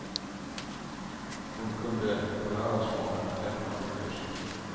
Hon kunde på lördagsmorgonen lämna sjukhuset.